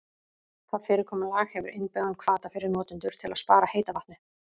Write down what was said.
Það fyrirkomulag hefur innbyggðan hvata fyrir notendur til að spara heita vatnið.